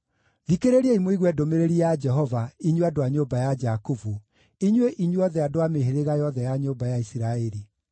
Thikĩrĩriai mũigue ndũmĩrĩri ya Jehova, inyuĩ andũ a nyũmba ya Jakubu, inyuĩ inyuothe andũ a mĩhĩrĩga yothe ya nyũmba ya Isiraeli.